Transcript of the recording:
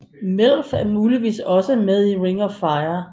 Melf er muligvis også med i Ring of Five